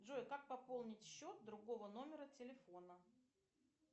джой как пополнить счет другого номера телефона